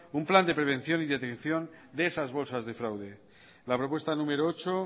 un plan de prevención y de atención de esas bolsas de fraude la propuesta número ocho